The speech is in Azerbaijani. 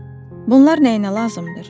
Eh, bunlar nəyinə lazımdır?